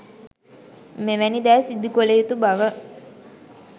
මෙවැනි දෑ සිදු කළ යුතු බව